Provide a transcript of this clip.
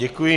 Děkuji.